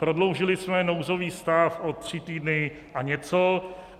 Prodloužili jsme nouzový stav o tři týdny a něco.